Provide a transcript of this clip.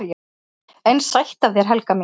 """EN SÆTT AF ÞÉR, HELGA MÍN!"""